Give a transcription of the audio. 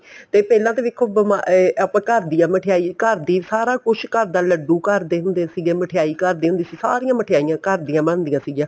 ਤੇ ਪਹਿਲਾਂ ਤਾਂ ਵੇਖੋ ਅਹ ਆਪਾਂ ਘਰ ਘਰ ਦੀਆਂ ਮਿਠਾਈ ਘਰ ਦੀ ਸਾਰਾ ਕੁੱਝ ਘਰ ਦਾ ਲੱਡੂ ਘਰ ਦੇ ਹੁੰਦੇ ਸੀਗੇ ਮਿਠਾਈ ਘਰ ਦੀ ਹੁੰਦੀ ਸੀ ਸਾਰੀਆਂ ਮਿਠਾਈਆਂ ਘਰ ਦੀਆਂ ਬਣਦੀਆਂ ਸੀਗੀਆਂ